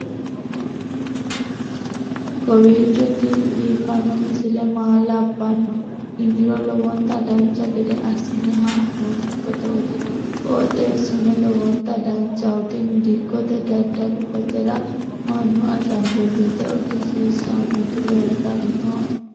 kowiicho tini biiffanno misile maa labbanno yiniro lowonta dancha gede assine haa'noonni foototi qoxeessuno lowonta danachaho. tini dikkote dadalu basera mannu ashangullete udisiisinoti leeltanni noe